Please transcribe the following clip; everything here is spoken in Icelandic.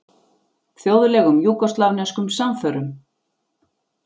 Þjóðlegum júgóslavneskum samförum.